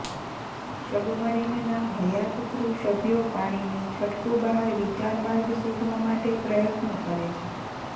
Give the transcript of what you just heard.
submarine ના હયાત crew સભ્યો પાણીની છટકું બહાર વિચાર માર્ગ શોધવા માટે પ્રયત્ન કરે છે